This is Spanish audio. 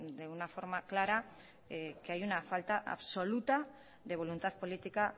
de una forma clara que hay una falta absoluta de voluntad política